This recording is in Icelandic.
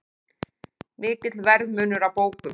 Mikill verðmunur á bókum